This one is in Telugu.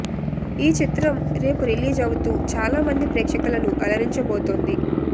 ఈ చిత్ర్రం రేపు రిలీజ్ అవుతూ చాలా మంది ప్రేక్షకులను అలరించబోతుంది